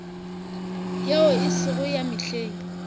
yeo e sego ya mehleng